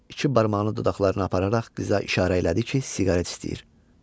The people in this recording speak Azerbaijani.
İki barmağını dodaqlarına apararaq qıza işarə elədi ki, siqaret istəyir.